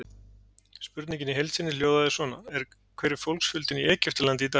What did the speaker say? Spurningin í heild sinni hljóðaði svona: Hver er fólksfjöldinn í Egyptalandi í dag?